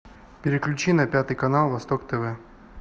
переключи на пятый канал восток тв